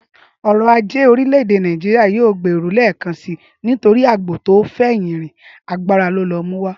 Ọrọ̀-ajé orílẹ̀-èdẹ Nàìjíríà yóò gbèrú lẹ́ẹ̀kan sí torí àgbò tò fẹ̀yìn rìn, agbára ló lọ mú wá